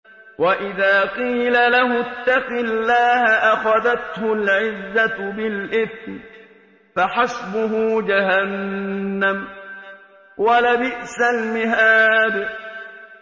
وَإِذَا قِيلَ لَهُ اتَّقِ اللَّهَ أَخَذَتْهُ الْعِزَّةُ بِالْإِثْمِ ۚ فَحَسْبُهُ جَهَنَّمُ ۚ وَلَبِئْسَ الْمِهَادُ